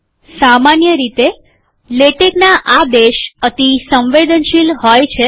સામાન્ય રીતે લેટેકના આદેશ અતિ સંવેદનશીલ છે